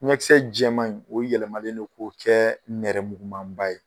Ɲɛkisɛ jɛman in , o yɛlɛmalen don k'o kɛ nɛrɛmukumanba ye.